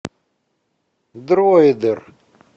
дроидер